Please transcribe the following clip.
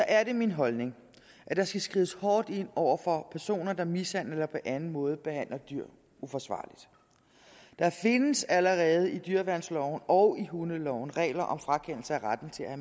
er det min holdning at der skal skrides hårdt ind over for personer der mishandler eller på anden måde behandler dyr uforsvarligt der findes allerede i dyreværnsloven og i hundeloven regler om frakendelse af retten til at